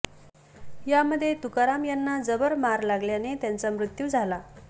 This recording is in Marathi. यामध्ये तुकाराम यांना जबर मार लागल्याने त्यांचा मृत्यू झाला